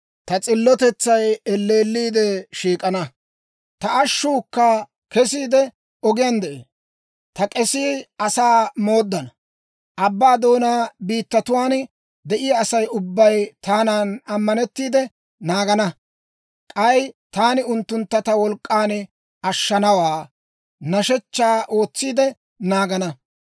Ta s'illotetsay elleelliide shiik'ana; ta ashshuukka kesiide, ogiyaan de'ee. Ta k'esii asaa mooddana; abbaa doonaa biittatuwaan de'iyaa Asay ubbay taanan ammanettiide naagana; k'ay taani unttuntta ta wolk'k'an ashshanawaa, nashechchaa ootsiide naagana.